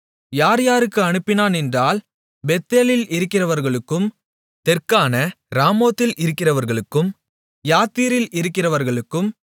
யார் யாருக்கு அனுப்பினான் என்றால் பெத்தேலில் இருக்கிறவர்களுக்கும் தெற்கான ராமோத்தில் இருக்கிறவர்களுக்கும் யாத்தீரில் இருக்கிறவர்களுக்கும்